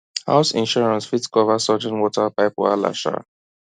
house insurance fit cover sudden water pipe wahala um